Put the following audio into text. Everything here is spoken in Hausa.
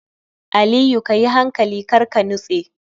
Aliyu kayi hankali karka nitse